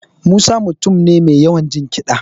Musa ya mutum ne mai yawan jin kiɗa